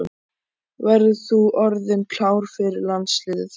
Verður þú orðinn klár fyrir landsliðið þá?